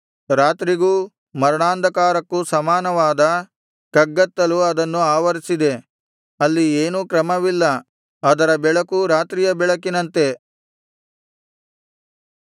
ರಾತ್ರಿಗೂ ಮರಣಾಂಧಕಾರಕ್ಕೂ ಸಮಾನವಾದ ಕಗ್ಗತ್ತಲು ಅದನ್ನು ಆವರಿಸಿದೆ ಅಲ್ಲಿ ಏನೂ ಕ್ರಮವಿಲ್ಲ ಅದರ ಬೆಳಕು ರಾತ್ರಿಯ ಬೆಳಕಿನಂತೆ